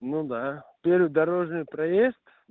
ну да первый дорожный проезд